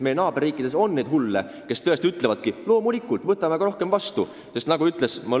Meie naaberriikides on hulle, kes ütlevad: "Loomulikult, võtame aga rohkem vastu!